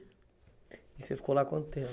E você ficou lá quanto tempo?